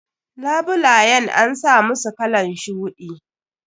Labulayen an samusu kalan shuɗi.